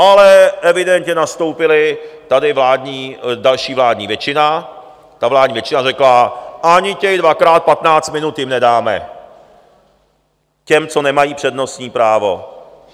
Ale evidentně nastoupila tady další vládní většina, ta vládní většina řekla: ani těch dvakrát patnáct minut jim nedáme, těm, co nemají přednostní právo.